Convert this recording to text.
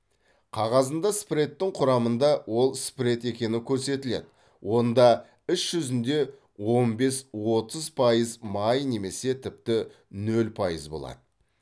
қағазында спредтің құрамында ол спред екені көрсетіледі онда іс жүзінде он бес отыз пайыз май немесе тіпті нөл пайыз болады